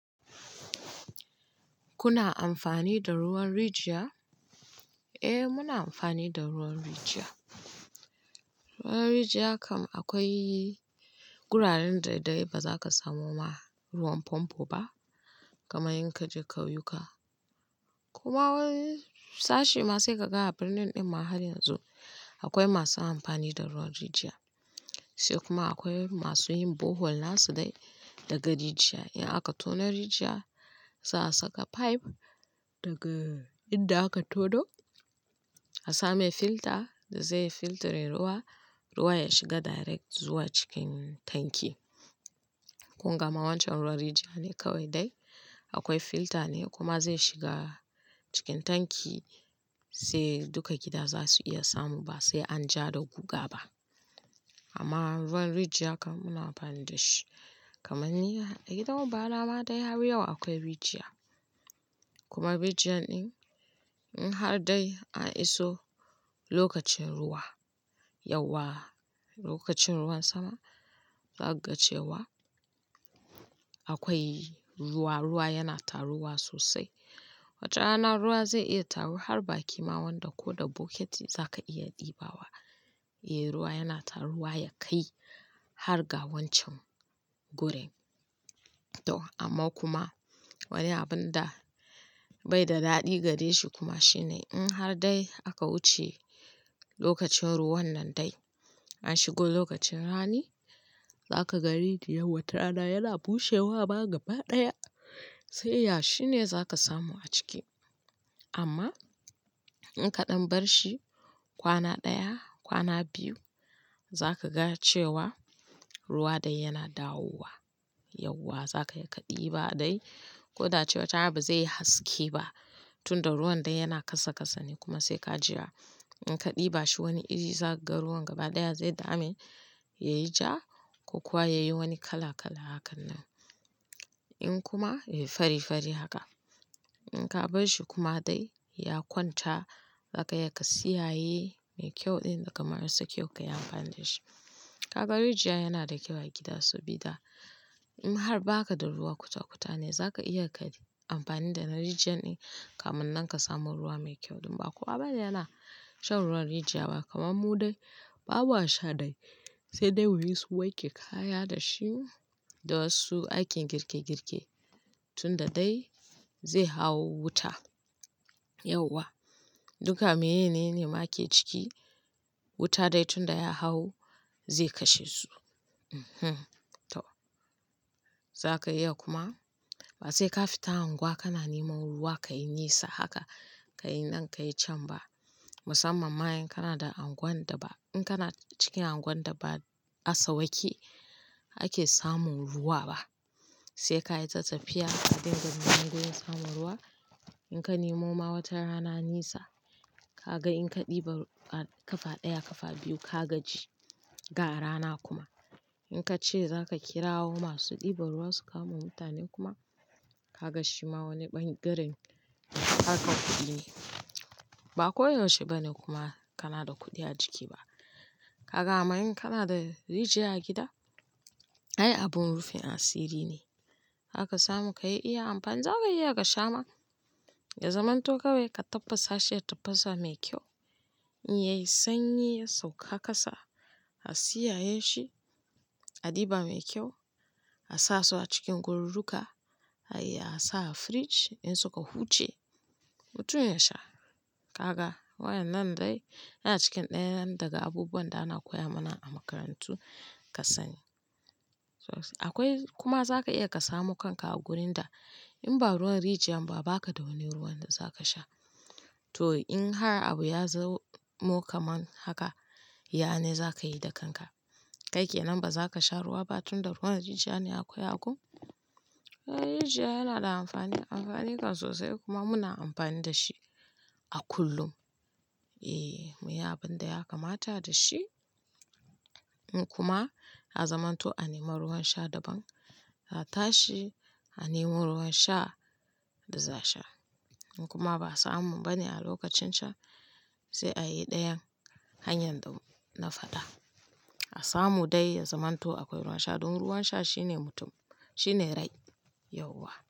Kuna amfani da ruwan rijiya? Eh muna amfani da ruwan rijiya. Ruwan rijiya kam akwai wuraren daidai ba za ka samu ma ruwan famfo ba, kamar in ka je kauyuka. Kuma wani sashe ma sai ka ga a birnin ɗin ma har yanzu akwai masu amfani da ruwan rijiya. Sai kuma akwai masu yin bohol nasu dai daga rijiya. In aka tono rijiya za a saka pipe daga inda aka tono, a sa mai filter da zai filtre ruwa, ruwa ya shiga direct zuwa cikin tanki. Kun gama wancan ruwan rijiya ne kawai dai, akwai filter ne kuma zai shiga cikin tanki sai duka gida za su iya samu ba sai an ja da guga ba. Amma ruwan rijiya kam muna amfani da shi. Kamanni a gidan uba na ma dai har yau akwai rijiya. Kuma rijiyar ɗin in har dai an iso lokacin ruwa, yauwa, lokacin ruwan sama, zaka ga cewa akwai ruwa, ruwa yana taruwa sosai. Wata rana ruwa zai iya taru har baƙi ma wanda ko da bucketi za ka iya ɗibawa. Eh ruwa yana taruwa ya kai har ga wancan gurin. To amma kuma wani abun da bai da daɗi gare shi kuma shine in har dai aka wuce lokacin ruwan nan dai, an shigo lokacin rani, za ka ga rijiyan wata rana yana bushewa ma gaba ɗaya. Sai yashi ne za ka samu a ciki. Amma in kaɗan bar shi kwana ɗaya, kwana biyu, za ka ga cewa ruwa dai yana dawowa. Yauwa za ka iya ka ɗiba dai, koda cewa ta ba zai yi haske ba, tunda ruwan dai yana kasa kasa ne kuma sai ka jira. In ka ɗiba shi wani iri za ka ga ruwan gaba ɗaya zai dame yayi ja ko kuwa yayi wani kala kala hakan nan. In kuma, eh fari fari haka. In ka bar shi kuma dai ya kwanta, za ka iya ka siyaye mai kyau ɗin da kamar sa kyau ka yi amfani da shi. Kaga rijiya yana da kyau a gida sabida in har baka da ruwa kutakuta ne za ka iya ka yi amfani da na rijiyar ɗin kamun nan ka samu ruwa mai kyau ɗin ba. Kuma ba yana shan ruwan rijiya ba kamar mu dai, babu ha sha dai. Sai dai muyi su wake kaya da shi da wasu aikin girke girke tunda dai zai hau wuta. Yauwa, duka meyene ne ma ake ciki wuta dai tunda ya hau zai kashe su. Eh to. Za ka iya kuma ba sai ka fita anguwa kana nemo ruwa ka yin nisa haka, ka yi nan ka yi can ba. Musamman ma in kana da anguan da ba, in kana cikin anguan da ba a sau wake ake samun ruwa ba. Sai ka yi ta tafiya ka dinga neman wurin samun ruwa. In ka nemo ma wata rana nisa, ka ga in ka ɗiba kafa ɗaya, kafa biyu ka gaji. Ga rana kuma. In ka ce za ka kirawo masu ɗiba ruwa su kamo mutanen kuma, ka ga shi ma wani ɓangaren haka kuɗi ne. Ba koyaushe ba ne kuma kana da kuɗi a jiki ba. Kaga amma in kana da rijiya a gida, ai abin rufin asiri ne. Zaka samu ka iya amfani, za ka iya ka sha ma. Da zamanto kawai ka tabbasa shi a tafasa mai kyau, in yayi sanyi ya sauka kasa, a siyaye shi, a ɗiba mai kyau, a sa su a cikin gorurruka, a iya a sa a fridge in suka huce, mutum ya sha. Kaga? Waƴannan dai yana cikin ɗayan daga abubuwan da ana koya mana a makarantu kasani. Akwai kuma za ka iya ka samu kanka a wurin da in ba ruwan rijiya ba ba ka da wani ruwan da za ka sha. To in har abu ya zamo kaman haka, ya ne za ka yi da kanka? Kai ke nan ba za ka sha ruwa ba tunda ruwan rijiya ne aka yi hakan? Eh rijiya yana da amfani, amfanin kan sosai kuma muna amfani da shi a kullum. Eh, mu yi abin da ya kamata da shi in kuma a zamanto a nemo ruwan sha daban, a tashi a nemo ruwan sha da za a sha. In kuma ba a samu ba ne a lokacin sha, sai a yi ɗayan hanyar da na faɗa. A samu dai ya zamanto akwai ruwan sha ɗin ruwan sha shine mutum, shine rai. Yauwa.